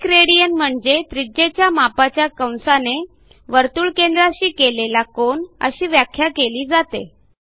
एक रेडियन म्हणजे त्रिज्येच्या मापाच्या कंसाने वर्तुळकेंद्राशी केलेला कोन अशी व्याख्या केली जाते